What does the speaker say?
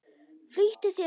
Flýttu þér, vinur.